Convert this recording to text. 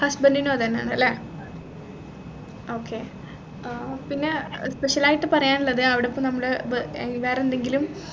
husband നും അതന്നെയാണ് അല്ലെ okay ഏർ പിന്നെ speicial ആയിട്ടു പറയാനുള്ളത് അവിടെ ഇപ്പൊ നമ്മള് ബെ ഏർ വേറെന്തെങ്കിലും